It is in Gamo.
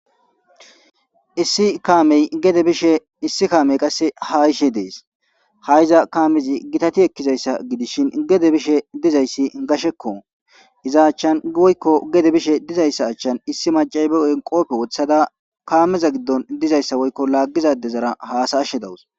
issi kaamey gede bishe issi kaamey qasse haa ishe dees ha iza kaamezi gitati ekkizayssa gidishin gede bishe dizayssi gashekko. iza achchan woykko gede bishe dizayssa achchan issi macay beo7en qoope wothada kaameza giddon dizayssa woykko laaggizade zara haasaashe dawus.